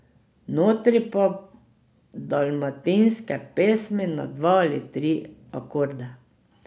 Notri pa dalmatinske pesmi na dva ali tri akorde.